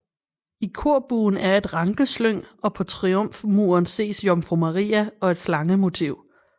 I korbuen er et rankeslyng og på triumfmuren ses Jomfru Maria og et slangemotiv